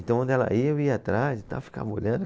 Então, onde ela ia, eu ia atrás e tal, ficava olhando.